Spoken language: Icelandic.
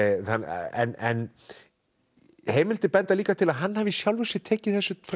en heimildir benda líka til að hann hafi í sjálfu sér tekið þessu frekar